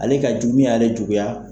Ale ka jugu min y'ale juguya.